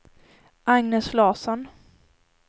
Agnes Larsson